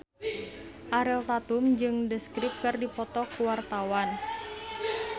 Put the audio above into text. Ariel Tatum jeung The Script keur dipoto ku wartawan